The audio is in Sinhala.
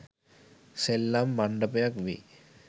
සෙල්ලම් මණ්ඩපයක් වෙයි.